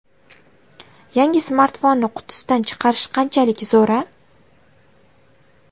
Yangi smartfonni qutisidan chiqarish qanchalik zo‘r-a?